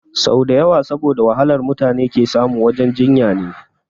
Sau dawa saboda wahalar mutune ke samu wajen jinya ne